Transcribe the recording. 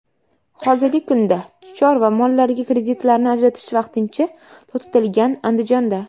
Hozirgi kunda chorva mollariga kreditlarni ajratish vaqtincha to‘xtatilgan Andijonda.